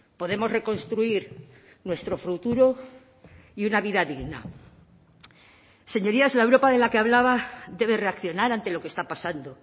podemos reconstruir nuestro futuro y una vida digna señorías la europa de la que hablaba debe reaccionar ante lo que está pasando